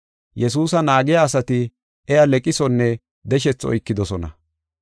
Yesuusa naagiya asati iya leqisonne deshethi oykidosona.